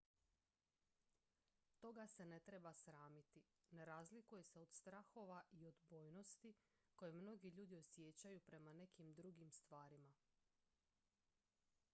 toga se ne treba sramiti ne razlikuje se od strahova i odbojnosti koje mnogi ljudi osjećaju prema nekim drugim stvarima